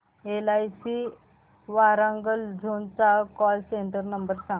LIC Warangal zone चा call centre number सांग